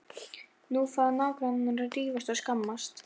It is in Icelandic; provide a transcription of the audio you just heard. Nú fara nágrannarnir að rífast og skammast.